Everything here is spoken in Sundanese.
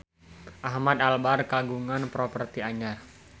Ahmad Albar kagungan properti anyar